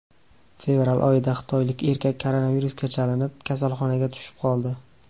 Fevral oyida xitoylik erkak koronavirusga chalinib, kasalxonaga tushib qoldi.